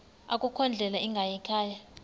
akukho ndlela ingayikhaya